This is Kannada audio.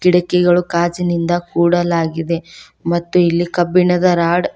ಇಡಕಿಗಳು ಕಾಜಿಂದ ಕೂಡಲಾಗಿದೆ ಮತ್ತು ಇಲ್ಲಿ ಕಬ್ಬಿಣದ ರಾಡ್ --